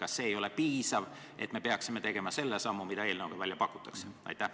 Kas see ei ole piisav ja me peaksime tegema selle sammu, mida eelnõuga välja pakutakse?